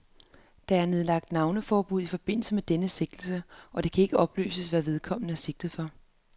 Der er nedlagt navneforbud i forbindelse med denne sigtelse, og det kan ikke oplyses, hvad vedkommende er sigtet for.